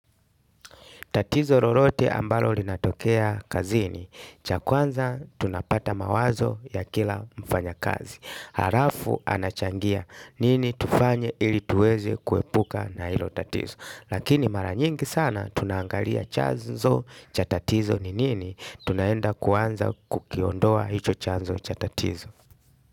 Tatizo lolote ambalo linatokea kazini. Cha kwanza tunapata mawazo ya kila mfanyakazi. Alafu anachangia nini tufanye ili tuweze kuepuka na hilo tatizo. Lakini mara nyingi sana tunaangalia chanzo cha tatizo ni nini. Tunaenda kwanza kukiondoa hicho chanzo cha tatizo.